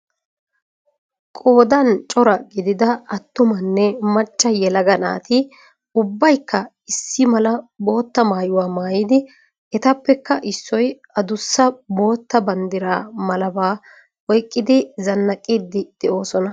Qoodan cora gidida attumanne macca yelaga naati ubbaykka issi mala boottaa maayuwa maayidi etappekka issoy addussa bootta banddira malabaa oyqqidi zanaqqiidi de'oosonna.